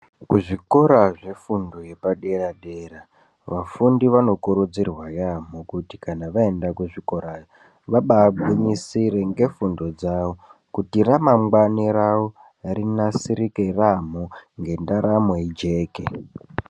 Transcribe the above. Kuzvikora zvefundo yepadera dera, vafundi vanokurudzirwa yaampho kuti kana vaenda kuzvikorayo vabaegwinyisire ngefundo dzawo. Kuti ramangwani rawo rinasirike yampho ngedaramo ijeke.